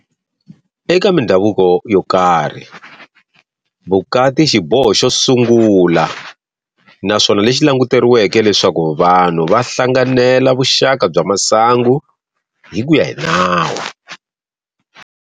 Eka mindzhavuko yo karhi, vukati i xiboho xo sungula naswona lexi languteriweke leswaku vanhu va hlanganela vuxaka bya masangu hi kuya hi nawu.